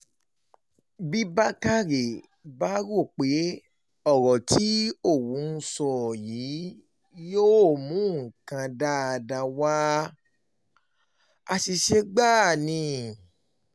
bí bákórè bá um rò pé ọ̀rọ̀ tí òun sọ yìí yóò um mú nǹkan dáadáa wá àṣìṣe gbáà ni